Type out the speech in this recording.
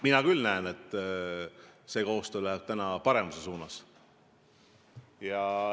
Mina küll näen, et see koostöö läheb paremuse suunas.